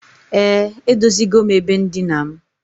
E, edozigom ebe ndina m.